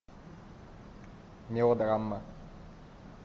мелодрама